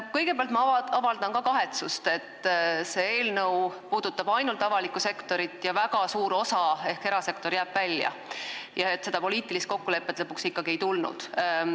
Kõigepealt avaldan ma ka kahetsust, et see eelnõu puudutab ainult avalikku sektorit ja väga suur osa ehk erasektor jääb välja ning seda poliitilist kokkulepet lõpuks ikkagi ei tulnud.